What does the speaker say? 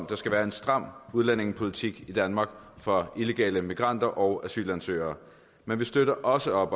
der skal være en stram udlændingepolitik i danmark for illegale immigranter og asylansøgere men vi støtter også